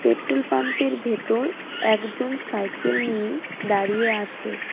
Petrol পাম্পের ভেতর একজন সাইকেল নিয়ে দাঁড়িয়ে আছে .